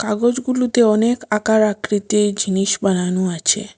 কাগজগুলুতে অনেক আকার আকৃতির জিনিস বানানু আছে।